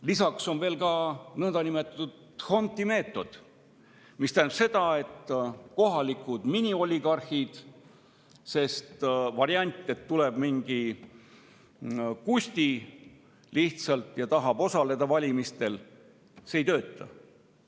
Lisaks on veel ka nõndanimetatud d'Hondti meetod, mis tähendab seda, et kohalikud minioligarhid, sest variant, et tuleb lihtsalt mingi Kusti ja tahab valimistel osaleda, ei tööta.